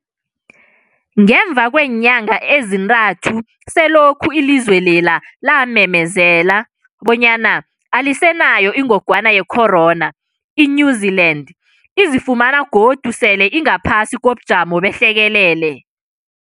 Ngemva kweenyanga ezintathu selokhu ilizwe lela lamemezela bonyana alisenayo ingogwana ye-corona, i-New-Zealand izifumana godu sele ingaphasi kobujamo behlekelele.